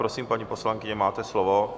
Prosím, paní poslankyně, máte slovo.